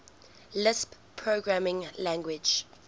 lisp programming language